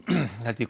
held ég